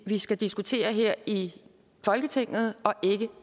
vi skal diskutere her i folketinget og ikke